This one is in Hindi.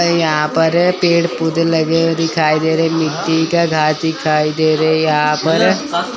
अ यहां पर पेड़ पौधे लगे हुए दिखाई दे रहे है मिट्टी का घार दिखाई दे रहे है यहां पर।